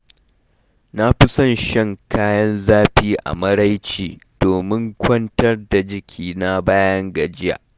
Na fi son shan kayan zafi a maraice domin kwantar da jikina bayan gajiya.